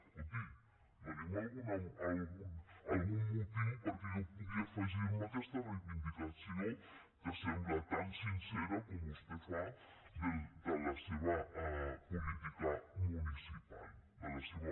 escolti doni’m algun motiu perquè jo pugui afegir me a aquesta reivindicació que sembla tan sincera com vostè fa de la seva política municipal de la seva